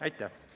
Aitäh!